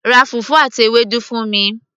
ra fùfú àti Ewédú fún mi